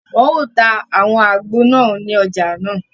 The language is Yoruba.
Wọn o tà awọn àgbo náà ní ọja nàá